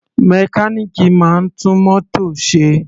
Mechanic máa ń tún mótò ṣe.